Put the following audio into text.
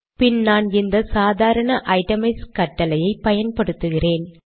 பின் நான் இந்த சாதாரண ஐட்டமைஸ் கட்டளையை பயன்படுத்துகிறேன்